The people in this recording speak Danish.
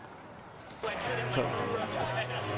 tolv tusind og tres